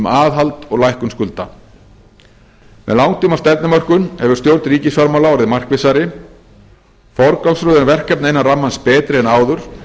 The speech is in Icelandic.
aðhald og lækkun skulda með langtímastefnumörkun hefur stjórn ríkisfjármála orðið markvissari forgangsröðun verkefna innan rammans betri en áður